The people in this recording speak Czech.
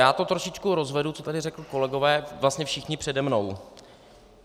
Já to trošičku rozvedu, co tady řekli kolegové, vlastně všichni přede mnou.